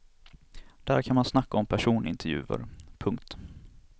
Där kan man snacka om personintervjuer. punkt